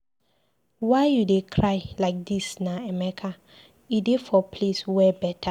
Why you dey cry like dis na Emeka? E dey for place where better.